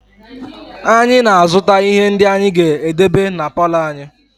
Anyị na-azụta ihe ndị anyị ga-edebe na palọ anyị